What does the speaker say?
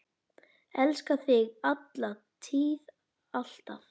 Elska þig, alla tíð, alltaf.